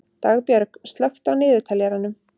Dagbjörg, slökktu á niðurteljaranum.